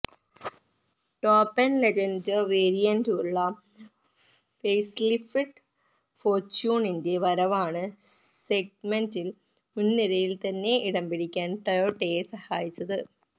top end legender വേരിയന്റുള്ള facelifted ഫോർച്യൂണറിന്റെ വരവാണ് സെഗ്മെന്റിൽ മുൻനിരയിൽ തന്നെ ഇടംപിടിക്കാൻ ടൊയോട്ടയെ സഹായിച്ചത്